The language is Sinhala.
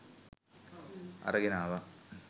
අරගෙන ආවා